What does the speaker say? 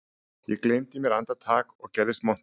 Ég gleymdi mér andartak og gerðist montinn